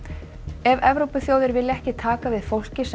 ef Evrópuþjóðir vilja ekki taka við fólki sem